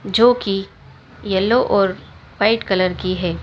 जोकि येलो और white colour की है।